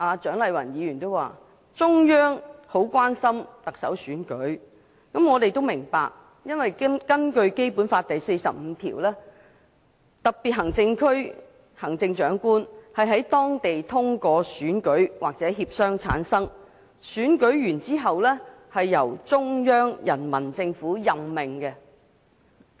蔣麗雲議員剛才說，中央很關心特首選舉，因為根據《基本法》第四十五條，香港特別行政區行政長官是在當地通過選舉或協商產生，選舉完畢後由中央人民政府任命。